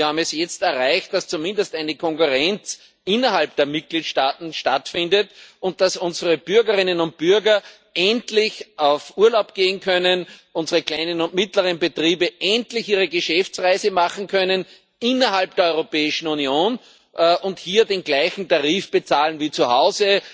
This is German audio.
Wir haben es jetzt erreicht, dass zumindest eine Konkurrenz innerhalb der Mitgliedstaaten stattfindet und dass unsere Bürgerinnen und Bürger endlich auf Urlaub gehen können, unsere kleinen und mittleren Betriebe endlich ihre Geschäftsreise machen können innerhalb der Europäischen Union und hier den gleichen Tarif bezahlen wie zu Hause.